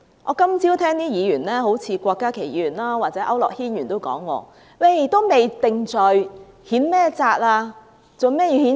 我今早聽到有些議員，好像郭家麒議員或區諾軒議員都說，還未定罪，如何譴責？